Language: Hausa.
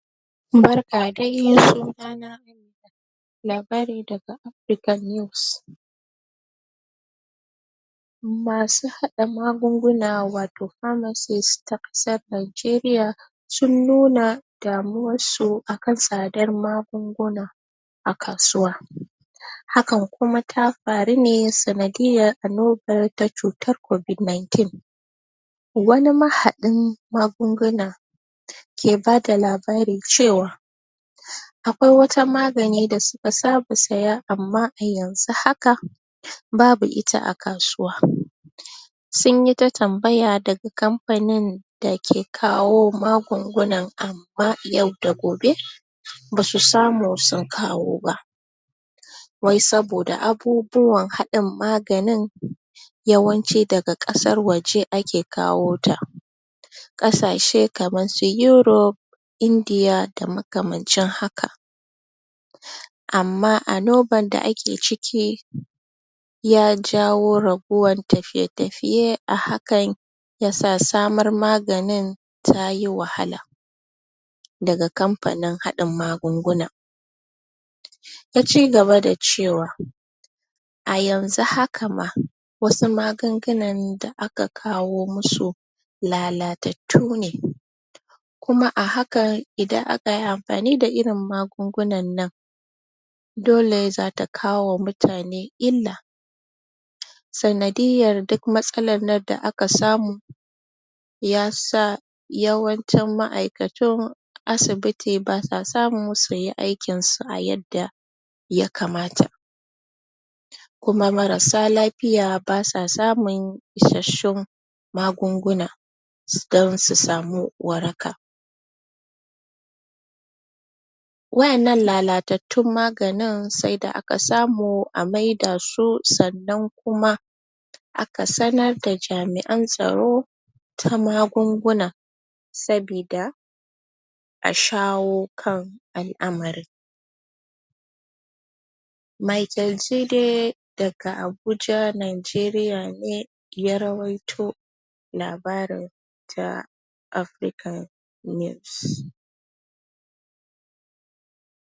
barka dai suna na labari daga africa news masu hada magunguna wato parmasis na kasa nigeriya sun nuna damuwar su akan tsadar magunguna a kasuwa hakan kuma tafaru ne sanadiya annobar cutar covid ninteen wani mahadin magunguna ke bada labarin cewa akwai wata magani da suka saba siya amma a yanzu haka um babu ita a kasuwa sun yita tambaya daga kamfanin da ke kawo magungunan amma yau da gobe um basu samu sun kawo ba wai saboda abubuwan hadin maganin yawanci daga kasar waje ake kawo ta kasashe kamar su europ indiya da makamcin haka um amma anoban da ake ciki yajawo rabuwan tafiye-tafiye a hakan yasa samar maganin tayi wahala daga kamfanin hadin magungunan ya cigaba da cewa a yanzu haka ma wasu magungunan da aka kawo masu lalatattune kuma a hakan idan akayi amfani da irin magungu nan nan dole zata kawo ma mutane illa um sanidiyar duk matsalan da aka samu yasa yawancin ma'aikatun asibiti basa samu suyi aikin su a yadda yakamata kuma marasa lafiya basa samun isashshun magunguna um don su samu waraka wadan nan lalatattun maganin sai da aka samu a maida su sannan kuma aka sanar da jami'an tsaro ta magunguna sabida a shawo kan al-amarin Micheal jide daga abuja nigeriya ne ya rawito labarin ta africa news